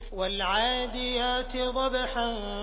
وَالْعَادِيَاتِ ضَبْحًا